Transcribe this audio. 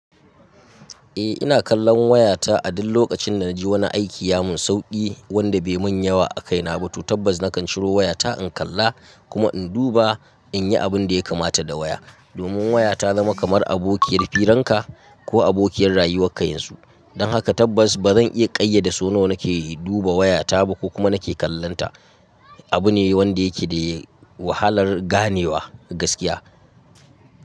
Eh ina kallon wayata a duk lokacin da na ji wani aiki ya mun sauki wanda bai mun yawa a kaina ba to tabbas nakan ciro wayata in kalla kuma in duba in yi abun da ya kamata da waya. Domin waya ta zama kamar abokiyar firanka ko abokiyar rayuwarka yanzu. Don haka tabbas ba zan iya kayyade so nawa nake duba wayata ba ko kuma nake kallonta. Abu ne wanda yake da wahalar ganewa gaskiya.